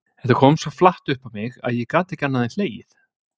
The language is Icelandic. Þetta kom svo flatt upp á mig að ég gat ekki annað en hlegið.